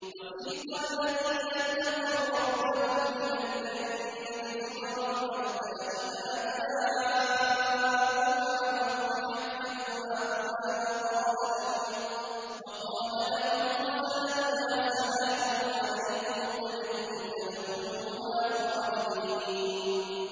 وَسِيقَ الَّذِينَ اتَّقَوْا رَبَّهُمْ إِلَى الْجَنَّةِ زُمَرًا ۖ حَتَّىٰ إِذَا جَاءُوهَا وَفُتِحَتْ أَبْوَابُهَا وَقَالَ لَهُمْ خَزَنَتُهَا سَلَامٌ عَلَيْكُمْ طِبْتُمْ فَادْخُلُوهَا خَالِدِينَ